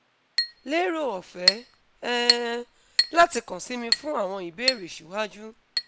lero ọfẹ um lati kan si mi fun awọn ibeere siwaju